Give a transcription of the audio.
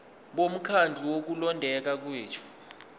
bomkhandlu wokulondeka kwethu